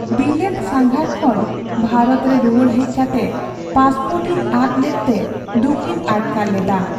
ᱵᱤᱞᱟᱹᱛ ᱥᱟᱸᱜᱷᱟᱨ ᱠᱷᱚᱱ ᱵᱷᱟᱨᱚᱛ ᱨᱮ ᱨᱩᱣᱟᱹᱲ ᱦᱮᱡ ᱠᱟᱛᱮ ᱯᱟᱥᱯᱳᱨᱴ ᱤᱧ ᱟᱫ ᱞᱮᱫᱛᱮ ᱫᱩᱠᱤᱧ ᱟᱴᱠᱟᱨ ᱞᱮᱫᱟ ᱾